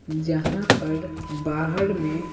जहां पर बाहर में।